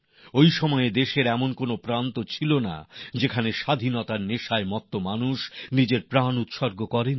এই সময়ে দেশের এমন কোনও প্রান্ত ছিল না যেখানে স্বাধীনতার সংগ্রামীরা নিজেদের প্রাণ বলিদান করেননি